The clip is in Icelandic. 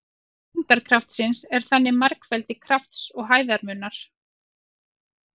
Vinna þyngdarkrafts er þannig margfeldi krafts og hæðarmunar.